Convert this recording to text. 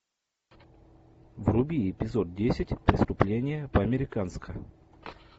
вруби эпизод десять преступление по американски